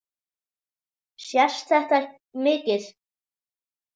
Sést þetta mikið?